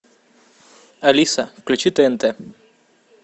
алиса включи тнт